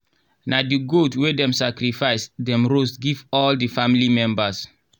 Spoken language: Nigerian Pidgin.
na the goat wey dem sacrifice dem roast give all the family members